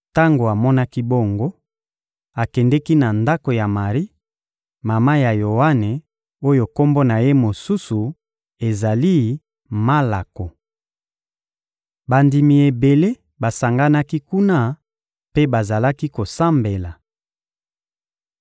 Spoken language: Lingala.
Tango amonaki bongo, akendeki na ndako ya Mari, mama ya Yoane oyo kombo na ye mosusu ezali «Malako.» Bandimi ebele basanganaki kuna mpe bazalaki kosambela.